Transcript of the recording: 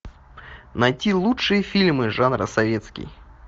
найти лучшие фильмы жанра советский